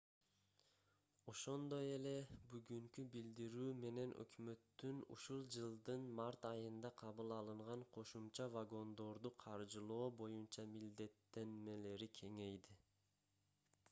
ошондой эле бүгүнкү билдирүү менен өкмөттүн ушул жылдын март айында кабыл алынган кошумча вагондорду каржылоо боюнча милдеттенмелери кеңейди